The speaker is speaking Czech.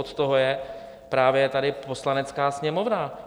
Od toho je právě tady Poslanecká sněmovna.